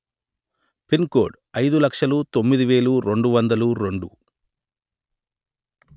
pin code అయిదు లక్షలు తొమ్మిది వెలు రెండు వందలు రెండు